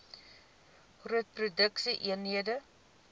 groot produksie eenhede